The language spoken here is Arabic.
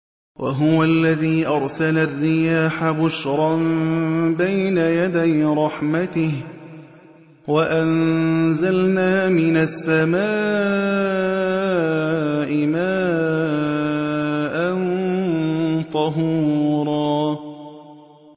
وَهُوَ الَّذِي أَرْسَلَ الرِّيَاحَ بُشْرًا بَيْنَ يَدَيْ رَحْمَتِهِ ۚ وَأَنزَلْنَا مِنَ السَّمَاءِ مَاءً طَهُورًا